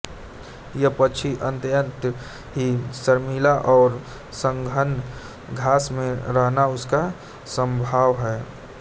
यह पक्षी अत्यंत ही शर्मिला है और सघन घास में रहना इसका स्वभाव है